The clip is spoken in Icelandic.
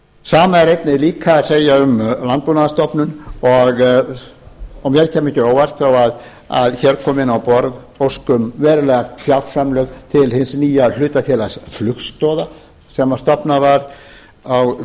sama er einnig líka að segja um landbúnaðarstofnun og mér kæmi ekki á óvart þó hér komi inn á borð ósk um veruleg fjárframlög til hins nýja hlutafélags flugstoða sem stofnað var um